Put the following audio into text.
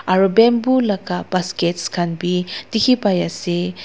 aro bamboo laka baskets khan bi dikhipaiase.